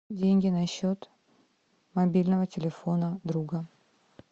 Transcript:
деньги на счет мобильного телефона друга